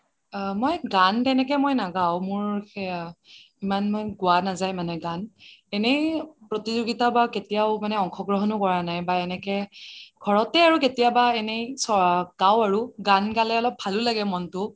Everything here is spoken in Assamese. অ মই গান তেনেকে মই নাগাঁও ইমান মান গোৱা নাযায় মানে গান এনে প্ৰতিযোগিতা বা কেতিয়াও অংশগ্ৰহণয়ো কৰা নাই বা এনেকে ঘৰতে আৰু কেতিয়াবা এনেই গাওঁ আৰু গান গালে অলপ ভালোঁ লাগে মনটো